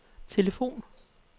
telefon